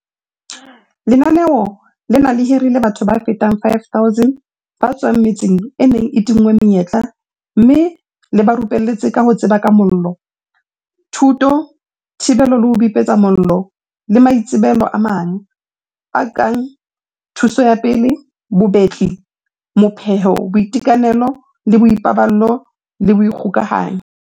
Lenaneo lena le hirile batho ba fetang 5 000 ba tswang metseng e neng e tinngwe menyetla mme le ba rupelletse ka ho tseba ka mollo, thuto, thibelo le ho bipetsa mollo le maitsebelo a mang, a kang thuso ya pele, bobetli, mo pheho, boitekanelo le boipaballo le dikgokahanyo.